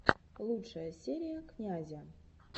лучшая серия князя